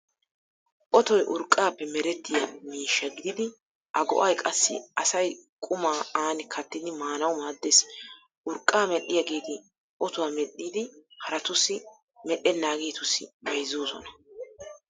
Otoy urqqaappe merettiyaa miishsha gididi a go'ay qassi asay qumaa aani kattidi maanawu maaddees. Urqqaa medhdhiyaageeti otuwaa medhdhidi haraatussi medhdhennaageetussi bayzzoosona.